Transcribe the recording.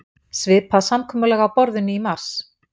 Svipað samkomulag á borðinu í mars